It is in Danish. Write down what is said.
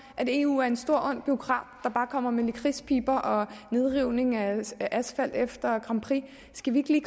eu er en stor ond bureaukrat der bare kommer med lakridspiber og nedrivning af asfalt efter grand prix skal vi ikke